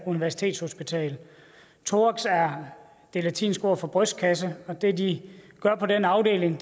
universitetshospital thorax er det latinske ord for brystkasse og det de gør på den afdeling